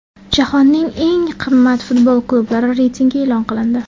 Jahonning eng qimmat futbol klublari reytingi e’lon qilindi.